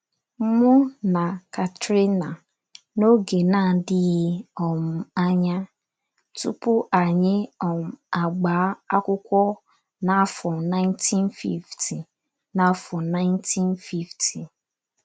Mụ na Katerina, n’oge na - adịghị um anya, tupu anyị um agbaa akwụkwọ n’afọ 1950 n’afọ 1950